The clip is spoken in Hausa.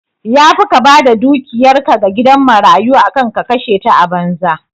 Yafi ka bada dukiyar ka ga gidan marayu akan ka kashe ta a banza